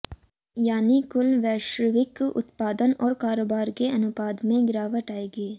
यानी कुल वैश्विक उत्पादन और कारोबार के अनुपात में गिरावट आएगी